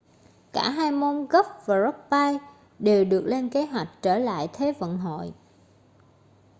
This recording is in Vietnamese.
cả hai môn golf và rugby đều được lên kế hoạch trở lại thế vận hội